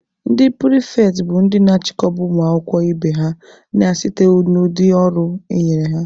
Ndị pịrịfetị bụ ndị na-achịkọba ụmụ akwụkwọ ibe ha na site n'ụdị ọrụ enyere ha.